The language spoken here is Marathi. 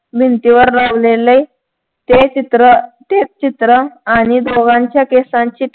भिंतीवर लावलेले ते चित्र तेच चित्र आणि दोघांच्या केसांची